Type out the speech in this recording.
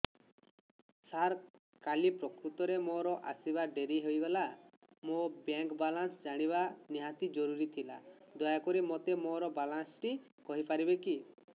ସାର କାଲି ପ୍ରକୃତରେ ମୋର ଆସିବା ଡେରି ହେଇଗଲା ମୋର ବ୍ୟାଙ୍କ ବାଲାନ୍ସ ଜାଣିବା ନିହାତି ଜରୁରୀ ଥିଲା ଦୟାକରି ମୋତେ ମୋର ବାଲାନ୍ସ ଟି କହିପାରିବେକି